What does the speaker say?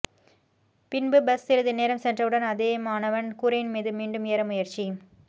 பின்பு பஸ் சிறிது நேரம் சென்றவுடன் அதே மாணவன் கூரையின் மீது மீண்டும் ஏற முயற்சி